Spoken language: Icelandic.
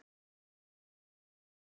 Elsku Guðjón minn.